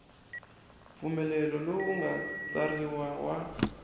mpfumelelo lowu nga tsariwa wa